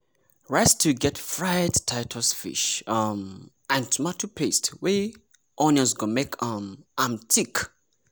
rice stew get fried titus fish um and tomato paste wey onions go make um am thick